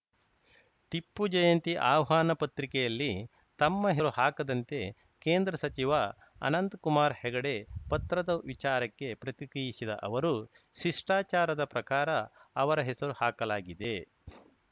ಟಿಪ್ಪು ಜಯಂತಿ ಆಹ್ವಾನ ಪತ್ರಿಕೆಯಲ್ಲಿ ತಮ್ಮ ಹೆರು ಹಾಕದಂತೆ ಕೇಂದ್ರ ಸಚಿವ ಅನಂತಕುಮಾರ್‌ ಹೆಗಡೆ ಪತ್ರದ ವಿಚಾರಕ್ಕೆ ಪ್ರತಿಕ್ರಿಯಿಸಿದ ಅವರು ಶಿಷ್ಟಾಚಾರದ ಪ್ರಕಾರ ಅವರ ಹೆಸರು ಹಾಕಲಾಗಿದೆ